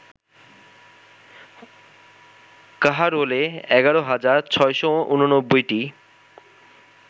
কাহারোলে ১১ হাজার ৬৮৯টি